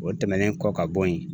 O tɛmɛnen kɔ ka bo yen